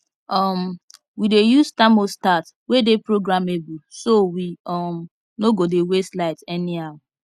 um we dey use thermostat wey dey programmable so we um no go dey waste light anyhow